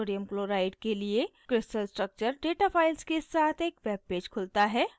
sodium chloride के लिए crystal structure data files के साथ एक web पेज खुलता है